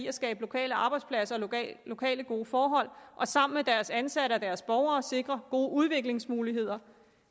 at skabe lokale arbejdspladser og lokale gode forhold og sammen med deres ansatte og deres borgere sikre gode udviklingsmuligheder